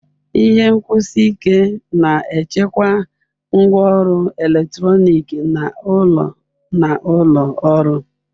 Ihe nkwụsi ike na-echekwa ngwaọrụ eletrọnịkị n'ụlọ na ụlọ ọrụ.